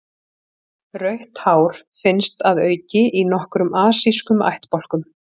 Rautt hár finnst að auki í nokkrum asískum ættbálkum.